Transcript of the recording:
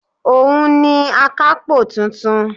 Òun ni akápò tuntun